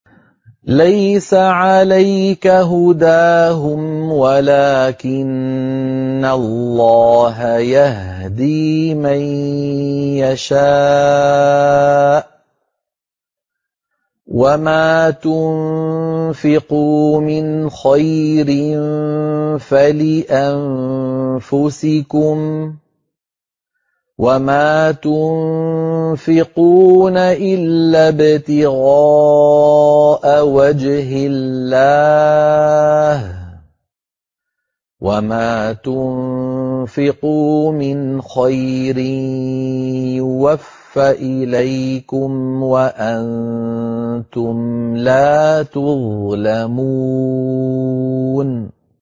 ۞ لَّيْسَ عَلَيْكَ هُدَاهُمْ وَلَٰكِنَّ اللَّهَ يَهْدِي مَن يَشَاءُ ۗ وَمَا تُنفِقُوا مِنْ خَيْرٍ فَلِأَنفُسِكُمْ ۚ وَمَا تُنفِقُونَ إِلَّا ابْتِغَاءَ وَجْهِ اللَّهِ ۚ وَمَا تُنفِقُوا مِنْ خَيْرٍ يُوَفَّ إِلَيْكُمْ وَأَنتُمْ لَا تُظْلَمُونَ